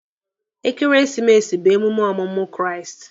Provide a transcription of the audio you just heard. Ekeresimesi bụ emume ọmụmụ Kraịst.